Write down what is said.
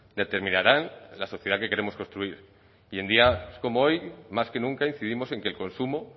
determinarán la sociedad que queremos construir y en días como hoy más que nunca incidimos en que el consumo